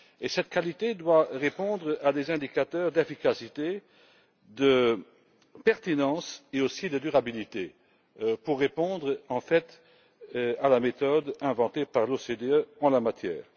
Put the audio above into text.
Cette qualité doit répondre à des indicateurs d'efficacité, de pertinence et aussi de durabilité pour répondre, en fait, à la méthode inventée par l'OCDE en la matière.